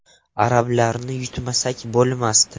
Arablarni yutmasak bo‘lmasdi.